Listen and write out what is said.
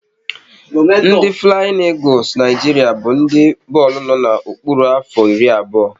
Ndị Flayin Egules Naijiria bụ ndị bọọlụ no na-okpuru afọ iri abụọ